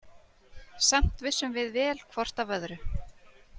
Samt vissum við vel hvort af öðru.